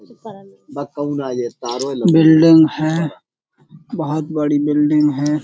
Building है बहोत बड़ी बिल्डिंग है।